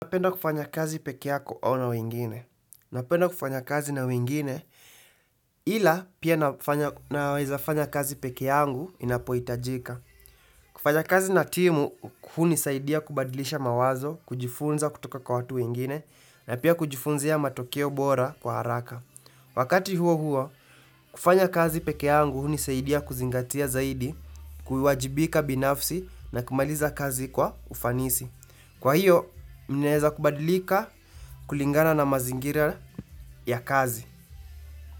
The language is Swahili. Napenda kufanya kazi peke yako au na wingine? Napenda kufanya kazi na wengine, ila pia naweza fanya kazi peke yangu inapoitajika. Kufanya kazi na timu, hunisaidia kubadilisha mawazo, kujifunza kutoka kwa watu wengine, na pia kujifunzia matokeo bora kwa haraka. Wakati huo huo, kufanya kazi peke yangu hunisaidia kuzingatia zaidi, kuwajibika binafsi na kumaliza kazi kwa ufanisi. Kwa hiyo, naeza kubadilika kulingana na mazingira ya kazi.